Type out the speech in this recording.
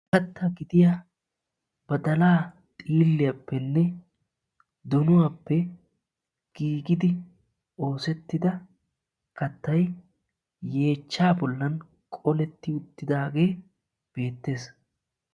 Katta gidiya badalaa xiilliyappenne donuwaappe giigidi oosettida kattay yeechchaa bollan qoletti uttidaagee beettes.